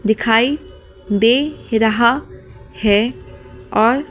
दिखाई दे रहा है और--